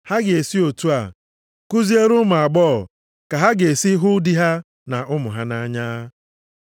Ha ga-esi otu a kuziere ụmụ agbọghọ ka ha ga-esi hụ di ha na ụmụ ha nʼanya.